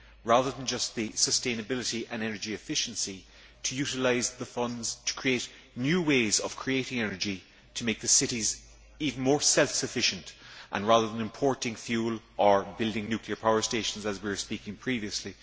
Rather than just promoting sustainability and energy efficiency, we need to utilise the funds to create new ways of creating energy to make cities even more self sufficient, rather than importing fuel or building nuclear power stations, as we were saying previously.